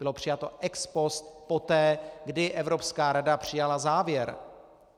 Bylo přijalo ex post, poté, kdy Evropská rada přijala závěr.